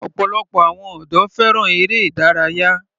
Ọ̀pọ̀lọpọ̀ àwọn ọ̀dọ́ fẹ́ràn eré ìdárayá.